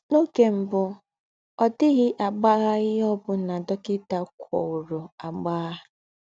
N’ọ́gè m̀bù, ọ̀ dị̀ghị́ àgbàghà íhe ọ́ bụ́nà dọ́kịtà kọ́wùrọ̀ àgbàghà.